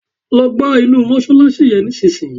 Lọ gbá inú mọ́ṣáláṣí yẹn nísìnyí!